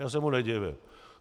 Já se mu nedivím.